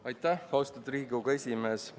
Aitäh, austatud Riigikogu esimees!